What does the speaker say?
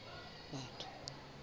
batho